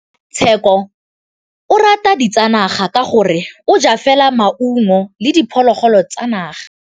Tshekô o rata ditsanaga ka gore o ja fela maungo le diphologolo tsa naga.